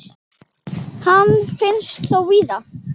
Hann finnst þó víðar.